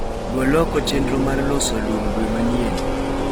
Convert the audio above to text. Gol oko vchenro mar loso lum dwe manyien.